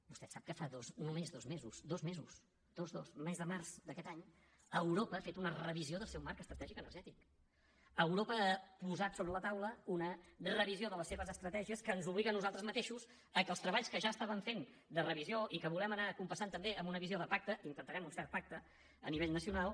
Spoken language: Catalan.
vostè sap que fa només dos mesos dos mesos dos dos mes de març d’aquest any europa ha fet una revisió del seu marc estratègic energètic europa ha posat sobre la taula una revisió de les seves estratègies que ens obliga a nosaltres mateixos que els treballs que ja estàvem fent de revisió i que volem anar compassant també amb una visió de pacte i intentarem un cert pacte a nivell nacional